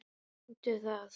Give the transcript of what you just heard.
Reyndu það.